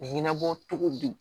Mɛ ɲɛnabɔ cogo di